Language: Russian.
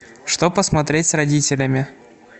что посмотреть с родителями